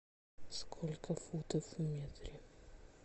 сколько футов в метре